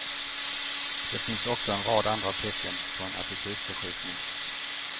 Det finns också en rad andra tecken på en attitydförskjutning.